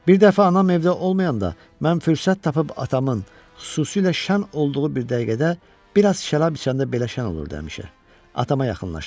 Bir dəfə anam evdə olmayanda mən fürsət tapıb atamın, xüsusilə şən olduğu bir dəqiqədə, bir az şərab içəndə belə şən olurdu həmişə, atama yaxınlaşdım.